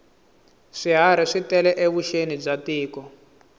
swiharhi swi tale evuxeni bya tiko